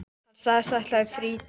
Hann sagðist ætla í frí til